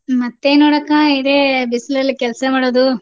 ಮತ್ತೇನ್ ನೋಡಕಾ ಇದೇ ಬಿಸ್ಲಲ್ ಕೆಲ್ಸ ಮಾಡೋದು